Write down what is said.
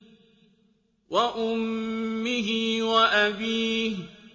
وَأُمِّهِ وَأَبِيهِ